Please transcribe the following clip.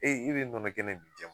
Ee e be nɔnɔ kɛnɛ mi jɛma